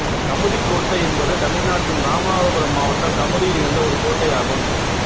கமுதிக்கோட்டை என்பது தமிழ்நாட்டின் இராமநாதபுரம் மாவட்டம் கமுதியில் இருந்த ஒரு கோட்டையாகும்